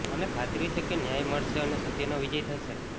મને ખાતરી છે કે ન્યાય મળશે અને સત્યનો વિજય થશે